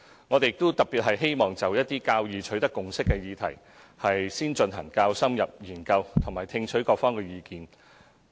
我們特別希望就一些較易取得共識的議題，進行較深入研究並聽取各方的意見。